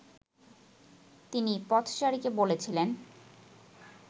তিনি পথচারীকে বলেছিলেন